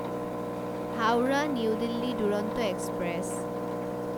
Howrah New Delhi Duronto express